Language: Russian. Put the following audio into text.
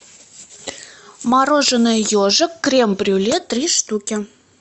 мороженое ежик крем брюле три штуки